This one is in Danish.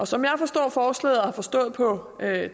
som jeg forstår forslaget og har forstået på